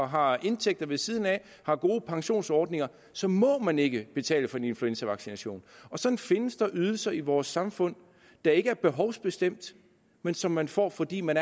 har indtægter ved siden af og har gode pensionsordninger så må man ikke betale for en influenzavaccination og sådan findes der ydelser i vores samfund der ikke er behovsbestemt men som man får fordi man